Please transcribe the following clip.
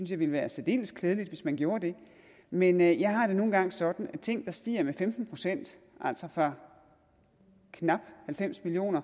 det ville være særdeles klædeligt hvis man gjorde det men jeg har det nu engang sådan at når ting stiger med femten procent altså fra knap halvfems million